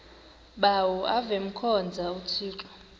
bawo avemkhonza uthixo